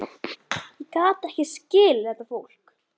Ég gat ekki skilið þetta fólk.